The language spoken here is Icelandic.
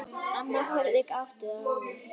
Amma horfir gáttuð á afa.